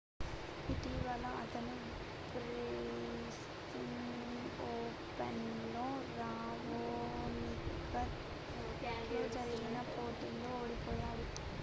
ఇటీవల అతను Brisbane Open లో రావోనిక్ తో జరిగిన పోటీలో ఓడిపోయాడు